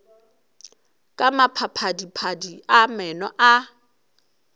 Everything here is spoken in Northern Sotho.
ka maphadiphadi a meno a